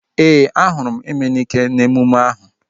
Ee, a hụrụ m Emenike n'emume ahu